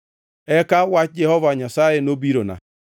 Eka wach Jehova Nyasaye nobirona: